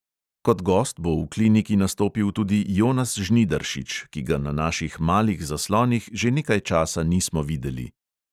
Kot gost bo v kliniki nastopil tudi jonas žnidaršič, ki ga na naših malih zaslonih že nekaj časa nismo videli.